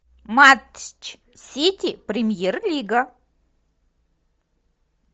матч сити премьер лига